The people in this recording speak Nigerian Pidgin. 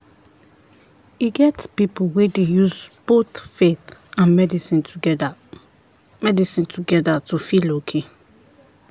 e get people wey dey use both faith and medicine together medicine together to feel okay.